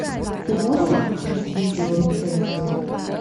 ты можешь включить видео рецензию